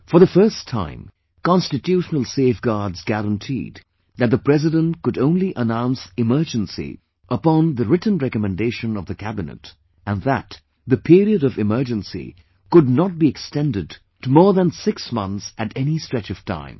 For the first time constitutional safeguards guaranteed that the President could only announce the emergency upon the written recommendation of the Cabinet, and that the period of emergency could not be extended more than six months at any stretch of time